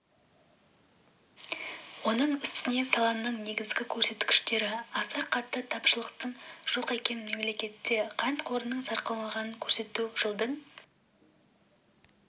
оның үстіне саланың негізгі көрсеткіштері аса қатты тапшылықтың жоқ екенін мемлекетте қант қорының сарқылмағанын көрсетеді жылдың